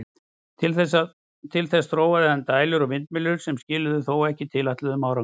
Til þess þróaði hann dælur og vindmyllur, sem skiluðu þó ekki tilætluðum árangri.